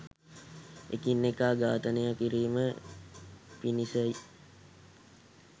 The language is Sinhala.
එකිනෙකා ඝාතනය කිරීම පිණිසයි.